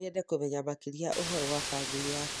No nyende kũmenya makĩria ũhoro wa famĩlĩ yanyu.